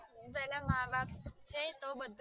પેલા વા વા કે